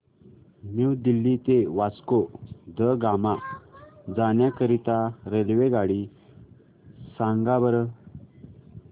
new Delhi ते वास्को द गामा जाण्या करीता रेल्वेगाडी सांगा बरं